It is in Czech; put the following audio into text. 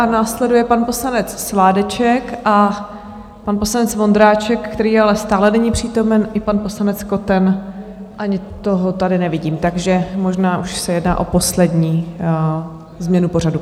A následuje pan poslanec Sládeček a pan poslanec Vondráček, který ale stále není přítomen, i pan poslanec Koten, ani toho tady nevidím, takže možná už se jedná o poslední změnu pořadu.